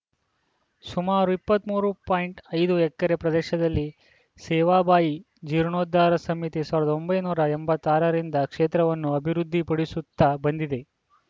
ಸುಮಾರು ಇಪ್ಪತ್ತ್ ಮೂರು ಪಾಯಿಂಟ್ ಐದು ಎಕರೆ ಪ್ರದೇಶದಲ್ಲಿ ಸೇವಾಬಾಯಿ ಜೀರ್ಣೋದ್ಧಾರ ಸಮಿತಿ ಸಾವಿರದ ಒಂಬೈನೂರ ಎಂಬತ್ತ್ ಆರರಿಂದ ಕ್ಷೇತ್ರವನ್ನು ಅಭಿವೃದ್ಧಿ ಪಡಿಸುತ್ತ ಬಂದಿದೆ